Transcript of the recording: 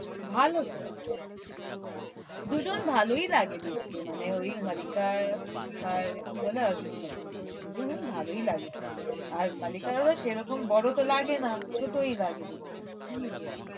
ভাল তো দুজন ভালই লাগে দেখতে। মানে ওই মালিকার আর কি বলে আর্জুন কাপুর। দুজন ওই ভালই লাগে আর মালিকার সে রকম বড় তো লাগে না ছোটই লাগে দেখতে সুন্দর লাগে।